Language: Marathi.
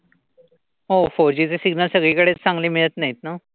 हो. फोरजी चे सिग्नल सगळीकडेच चांगले मिळत नाहीत ना.